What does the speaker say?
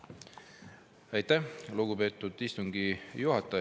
Aitäh, lugupeetud istungi juhataja!